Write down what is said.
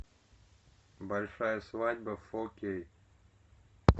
большая свадьба фо кей